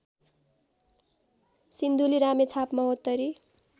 Sindhuli Ramechhap Mahottari